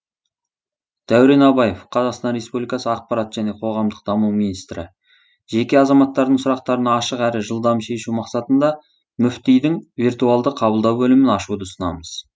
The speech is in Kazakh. дәурен абаев қазақстан республикасы ақпарат және қоғамдық даму министрі жеке азаматтардың сұрақтарын ашық әрі жылдам шешу мақсатында мүфтидің виртуалды қабылдау бөлімін ашуды ұсынамыз